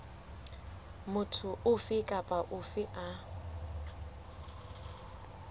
motho ofe kapa ofe a